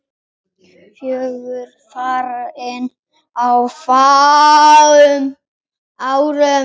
Fjögur farin á fáum árum.